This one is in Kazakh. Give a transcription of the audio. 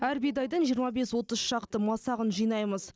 әр бидайдың жиырма бес отыз шақты масағын жинаймыз